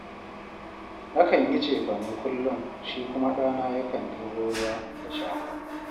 Nakan yi cefane kullum, shi kuma ɗana yakan ɗebo ruwa da shara